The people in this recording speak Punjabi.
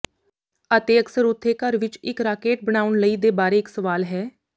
ਅਤੇ ਅਕਸਰ ਉਥੇ ਘਰ ਵਿਚ ਇਕ ਰਾਕੇਟ ਬਣਾਉਣ ਲਈ ਦੇ ਬਾਰੇ ਇੱਕ ਸਵਾਲ ਹੈ